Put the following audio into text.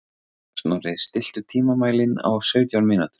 Snorri, stilltu tímamælinn á sautján mínútur.